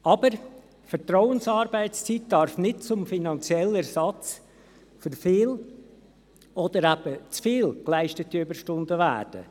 Aber Vertrauensarbeitszeit darf nicht zum finanziellen Ersatz für viele oder zu viele geleistete Überstunden werden.